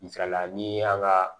Misalila ni an ka